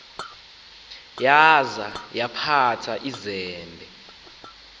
yaza yaphatha izembe